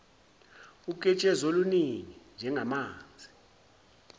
uketshezi oluningi njengamanzi